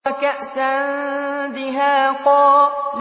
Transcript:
وَكَأْسًا دِهَاقًا